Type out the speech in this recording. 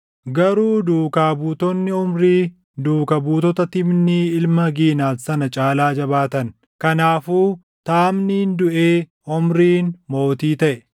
Garuu duukaa buutonni Omrii duuka buutota Tiibnii ilma Giinat sana caalaa jabaatan. Kanaafuu Taamniin duʼee Omriin mootii taʼe.